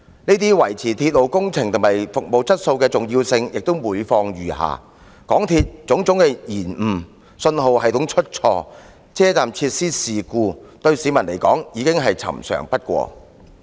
然而，維持鐵路工程和服務質素的重要性卻每況愈下，港鐵的種種延誤、信號系統出錯、車站設施發生事故，對市民來說已是司空見慣。